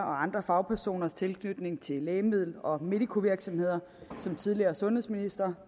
og andre fagpersoners tilknytning til lægemiddel og medicovirksomheder som tidligere sundhedsminister